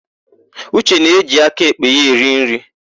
Uche na-eji aka èkpè ya eri nri.